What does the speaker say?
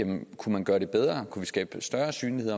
man kunne gøre det bedre om kunne skabe større synlighed